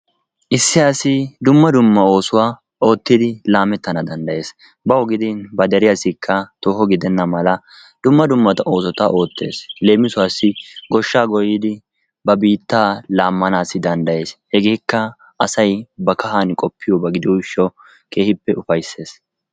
Issi asi dumma dumma oossuwaa ottidi laamettana danddayees. bawu gidin ba keettawukka tooho gidenna mala dumma dumma oosota oottees. Leemisuwaasi gooshshaa gooyidi ba biittaa laammanaassi danddayees. Hegeekka asay ba kaahan qoppiyooba gidiyoo giishawu keehippe upayssees.